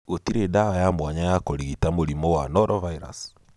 Gũtirĩ ndawa ya mwanya ya kũrigita mũrimũ wa norovirus.